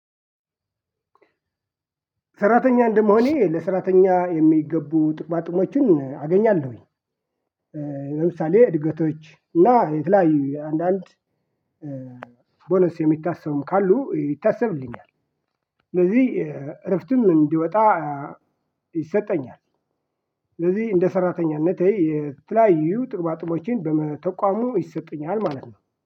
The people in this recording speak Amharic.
ሰራተኛ እንደመሆኔ ለሰራተኛ የሚገቡ ጥቅማጥቅሞችን አገኛለሁኝ። ለምሳሌ እድገቶች እና የተለያዩ አንዳንድ ቦነስ የሚታሰቡም ካሉ ይታሰብልኛል። ስለዚህ እረፍትን እንዲወጣ ይሰጠኛል። ስለዚህ እንደ ሰራተኛነቴ የተለያዩ ጥቅማጥቅሞችን በመተቋሙ ይሰጡኛል ማለት ነው